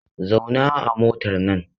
Zauna a motar nan!